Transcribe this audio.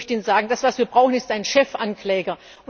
Ich möchte Ihnen sagen Das, was wir brauchen, ist ein Chefankläger.